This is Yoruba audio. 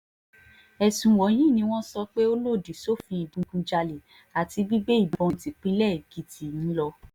ẹ̀sùn wọ̀nyí ni wọ́n sọ pé ó lòdì sófin ìdígunjalè àti gbígbé ìbọn típínlẹ̀ èkìtì ń lọ